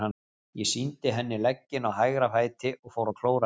Ég sýndi henni legginn á hægra fæti og fór að klóra mér.